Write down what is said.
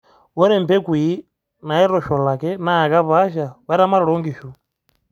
ore imbekui naitosholaki naa kepaasha o eramatre o inkishu